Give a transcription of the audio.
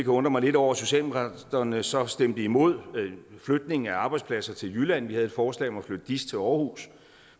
undre mig lidt over at socialdemokraterne så stemte imod flytning af arbejdspladser til jylland vi havde et forslag om at flytte diis til aarhus